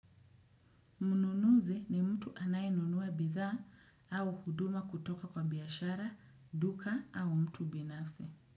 Mnunuzi ni mtu anaye anunua bidhaa au huduma kutoka kwa biashara, duka au mtu binafsi.